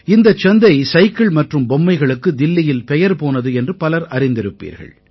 இந்தச் சந்தை சைக்கிள் மற்றும் பொம்மைகளுக்கு தில்லியில் பெயர் போனது என்று பலர் அறிந்திருப்பீர்கள்